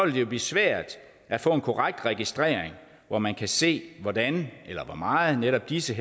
jo blive svært at få en korrekt registrering hvor man kan se hvordan eller hvor meget netop disse